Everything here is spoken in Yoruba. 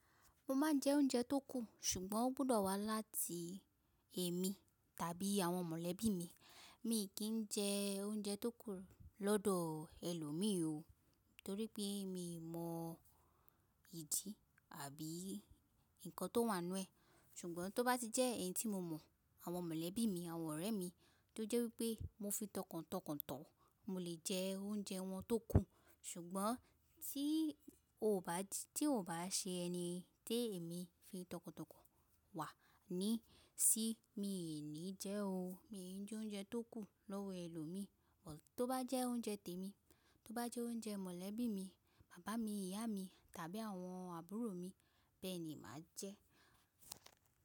Mo máa ń jẹ oúnjẹ tó kù, ṣùgbọ́n ó gbọdọ̀ wá láti èmi tàbí àwọn mọ̀lẹ́bí mi, mi kì í jẹ oúnjẹ tó kù lọ́dọ̀ ẹlòmí o, torí pé mi mọ ìdi àbí nǹkan tó wà nínú ẹ̀. Ṣùgbọ́n tó bá ti jẹ́ ẹ̀yin tí mo mọ̀, àwọn mọ̀lẹ́bí mi, àwọn ọ̀rẹ́ mi, tó jẹ́ wí pé mo fi tọkọ̀tọkọ̀ tò ọ́, mo lè jẹ oúnjẹ wọn tó kù. Ṣùgbọ́n tí ò bá ṣe ẹni tèémi fi tọkọ̀tọkọ̀ wà ní sí, mi ò ní jẹ́ o. Mi ò jẹ oúnjẹ tó kù lọ́wọ ẹlòmí, ṣùgbọ́n tó bá jẹ́ oúnjẹ tèmi, tó bá jẹ́ oúnjẹ mọ̀lẹ́bí mi, bàbá mi, ìyá mi tàbí àwọn àbúrò mi, bẹ́ẹ̀ni, màá jẹ ẹ́.